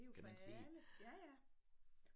Det jo for alle ja ja